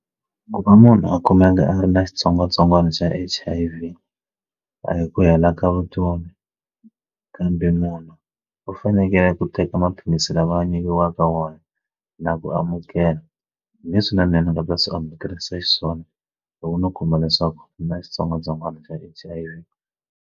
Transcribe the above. Ku va munhu a kumeka a ri na xitsongwatsongwana xa H_I_V a hi ku hela ka vutomi kambe munhu u fanekele ku teka maphilisi swi lava a nyikiwaka wona na ku amukela leswinene ni nga ta swi amukerile xiswona loko no kuma leswaku u na xitsongwatsongwana xa H_I_V.